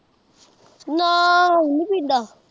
ਨਾ ਹੁਣ ਨੀ ਪੀਂਦਾ।